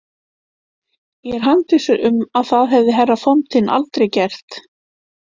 Ég er handviss um að það hefði herra Fontin aldrei gert.